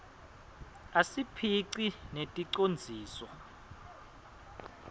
asiphhq neticondziso